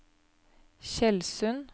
Tjeldsund